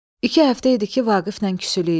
İki həftə idi ki, Vaqiflə küsülü idik.